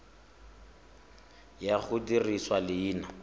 ya go dirisa leina la